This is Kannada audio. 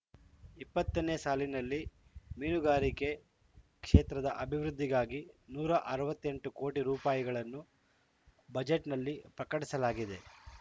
ಇಪ್ಪತ್ತ ನೇ ಸಾಲಿನಲ್ಲಿ ಮೀನುಗಾರಿಕೆ ಕ್ಷೇತ್ರದ ಅಭಿವೃದ್ಧಿಗಾಗಿ ನೂರ ಅರವತ್ತ್ ಎಂಟು ಕೋಟಿ ರೂಪಾಯಿಗಳನ್ನು ಬಜೆಟ್‌ನಲ್ಲಿ ಪ್ರಕಟಿಸಲಾಗಿದೆ